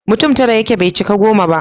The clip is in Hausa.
mutum tara yake bai cika goma ba